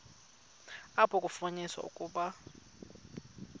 apho kwafunyaniswa ukuba